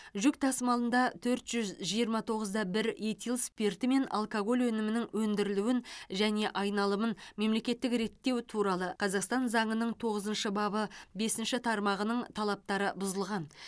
жүк тасымалында төрт жүз жиырма тоғыз да бір этил спирті мен алкоголь өнімінің өндірілуін және айналымын мемлекеттік реттеу туралы қазақстан заңының тоғызыншы бабы бесінші тармағының талаптары бұзылған